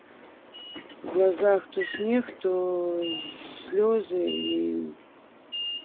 в глазах то снег то слезы и